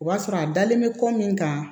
O b'a sɔrɔ a dalen bɛ ko min kan